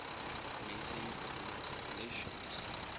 maintains diplomatic relations